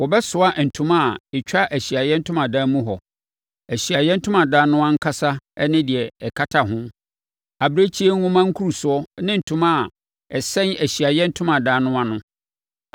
Wɔbɛsoa ntoma a ɛtwa Ahyiaeɛ Ntomadan mu hɔ, Ahyiaeɛ Ntomadan no ankasa ne deɛ ɛkata ho, abirekyie nhoma nkurusoɔ ne ntoma a ɛsɛn Ahyiaeɛ Ntomadan no ano no.